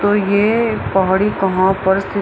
तो ये पहाड़ी कहाँ पर स्थित--